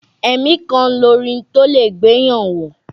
Ẹ̀mí kan lorin tólẹ̀ gbéyàn wọ̀.